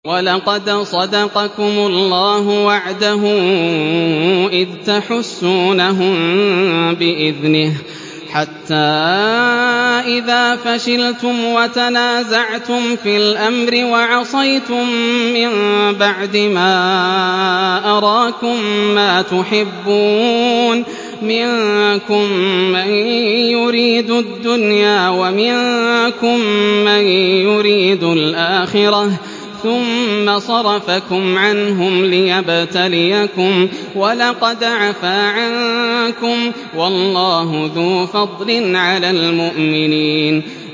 وَلَقَدْ صَدَقَكُمُ اللَّهُ وَعْدَهُ إِذْ تَحُسُّونَهُم بِإِذْنِهِ ۖ حَتَّىٰ إِذَا فَشِلْتُمْ وَتَنَازَعْتُمْ فِي الْأَمْرِ وَعَصَيْتُم مِّن بَعْدِ مَا أَرَاكُم مَّا تُحِبُّونَ ۚ مِنكُم مَّن يُرِيدُ الدُّنْيَا وَمِنكُم مَّن يُرِيدُ الْآخِرَةَ ۚ ثُمَّ صَرَفَكُمْ عَنْهُمْ لِيَبْتَلِيَكُمْ ۖ وَلَقَدْ عَفَا عَنكُمْ ۗ وَاللَّهُ ذُو فَضْلٍ عَلَى الْمُؤْمِنِينَ